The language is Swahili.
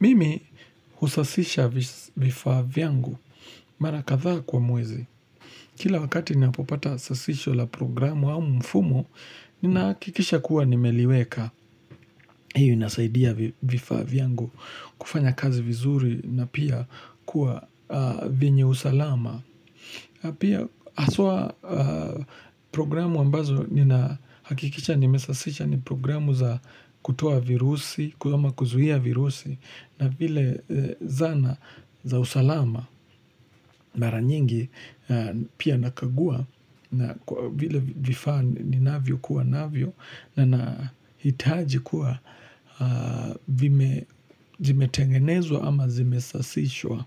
Mimi husasisha vifaa vyangu mara kathaa kwa mwezi. Kila wakati ninapopata sasisho la programu au mfumo, ninahakikisha kuwa nimeliweka. Hiyo inasaidia vifaa vyangu kufanya kazi vizuri na pia kuwa vyenye usalama. Pia haswa programu ambazo nina hakikisha nimesasisha ni programu za kutoa virusi, ama kuzuia virusi na vile zana za usalama mara nyingi pia nakagua na vile vifaa ni navyo kuwa navyo na nahitaji kuwa vimetengenezwa ama zimesasishwa.